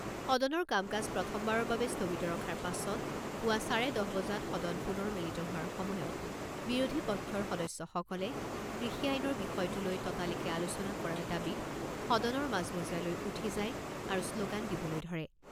সদনৰ কাম কাজ প্ৰথমবাৰৰ বাবে স্থগিত ৰখাৰ পাছত পুৱা চাৰে দহ বজাত সদন পুনৰ মিলিত হোৱাৰ সময়ত বিৰোধী পক্ষৰ সদস্যসকলে কৃষি আইনৰ বিষয়টো লৈ ততালিকে আলোচনা কৰাৰ দাবীত সদনৰ মাজমজিয়ালৈ উঠি যায় আৰু শ্লোগান দিবলৈ ধৰে।